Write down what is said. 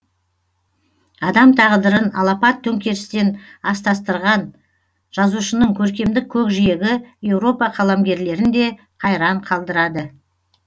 адам тағдырын алапат төңкерістен астастырған жазушының көркемдік көкжиегі еуропа қаламгерлерін де қайран қалдырады